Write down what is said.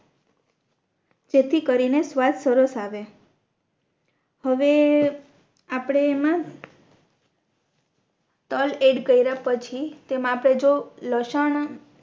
જેથી કરીને સ્વાદ સરસ આવે હવે આપણે એમાં તલ એડ કરિયા પછી તેમા આપણે જો લસણ